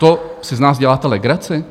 To si z nás děláte legraci?